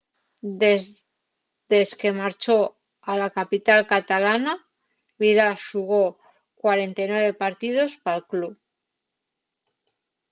desque marchó a la capital catalana vidal xugó 49 partíos pal club